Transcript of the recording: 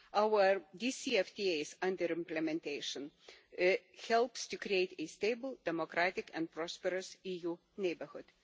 Our DCFTAs under implementation help to create a stable, democratic and prosperous EU neighbourhood.